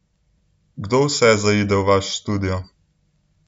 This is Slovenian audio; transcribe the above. Kdo vse zaide v vaš studio?